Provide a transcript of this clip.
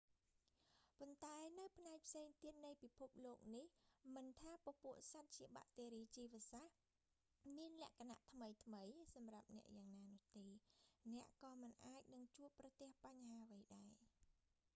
ប៉ុន្តែនៅផ្នែកផ្សេងទៀតនៃពិភពលោកនេះ មិនថាពពួកសត្វជាបាក់តេរីជីវសាស្រ្ត មានលក្ខណៈថ្មីៗសម្រាប់អ្នកយ៉ាងណានោះទេ អ្នកក៏មិនអាចនឹងជួបប្រទះបញ្ហាអ្វីដែរ